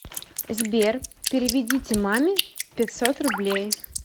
сбер переведите маме пятьсот рублей